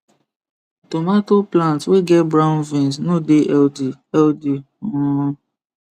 tomato plant wey get brown veins no dey healthy healthy um